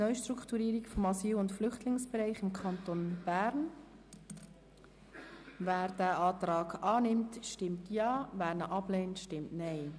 Wer den Kreditantrag genehmigt, stimmt Ja, wer diesen ablehnt, stimmt Nein.